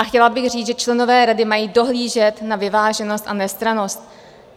A chtěla bych říct, že členové rady mají dohlížet na vyváženost a nestrannost.